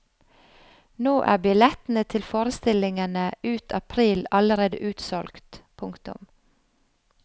Nå er billettene til forestillingene ut april allerede utsolgt. punktum